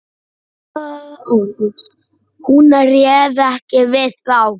Hún réð ekki við þá.